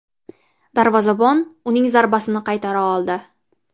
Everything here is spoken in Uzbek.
Darvozabon uning zarbasini qaytara oldi.